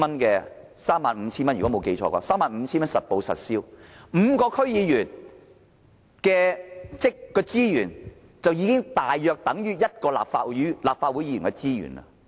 如果我沒記錯，我們還有 35,000 元實報實銷的津貼 ，5 名區議員的資源合計大約等於一名立法會議員的資源。